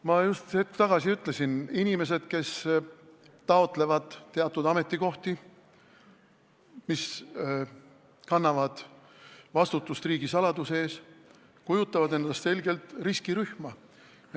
Ma just hetk tagasi ütlesin: inimesed, kes taotlevad ametikohti, kus tuleb kanda vastutust, et riigisaladus oleks kaitstud, kujutavad endast selgelt riskirühma.